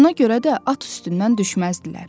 Ona görə də at üstündən düşməzdilər.